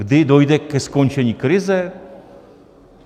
Kdy dojde ke skončení krize?